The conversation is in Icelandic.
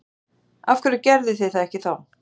Af hverju gerðuð þið það ekki þá?